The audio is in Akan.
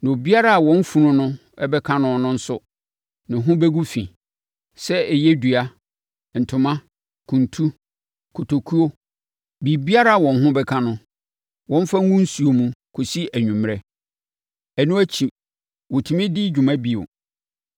na biribiara a wɔn funu no ho bɛka no nso ho bɛgu fi, sɛ ɛyɛ dua, ntoma, kuntu, kotokuo; biribiara a wɔn ho bɛka no, wɔmfa ngu nsuo mu nkɔsi anwummerɛ. Ɛno akyi, wɔtumi de di dwuma bio.